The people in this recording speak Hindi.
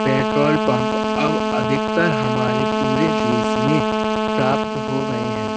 पेट्रोल पंप अब अधिकतर हमारे पूरे देश में प्राप्त हो गए हैं।